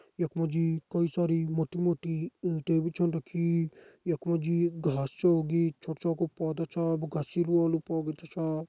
यख मा जी कई सारि मोटी मोटी ईंटे भी छन रखीं यख मा जी घास छ उगीं छोटा पौधा छा वाला पौधा छा।